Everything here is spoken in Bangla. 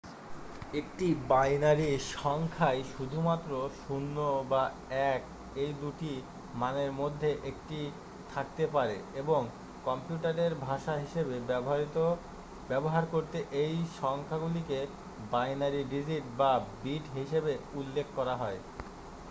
একটি বাইনারি সংখ্যায় শুধুমাত্র 0 বা 1 এই দুটি মানের মধ্যে একটি থাকতে পারে এবং কম্পিউটারের ভাষা হিসাবে ব্যবহার করতে এই সংখ্যাগুলিকে বাইনারি ডিজিট বা বিট হিসাবে উল্লেখ করা হয়